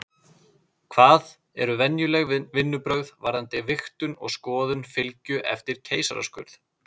Hvað eru venjuleg vinnubrögð varðandi vigtun og skoðun fylgju eftir keisaraskurð?